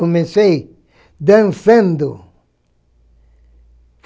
Comecei dançando.